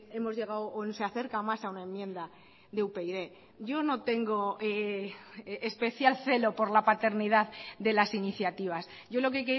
hemos llegado o se acerca más a una enmienda de upyd yo no tengo especial celo por la paternidad de las iniciativas yo lo que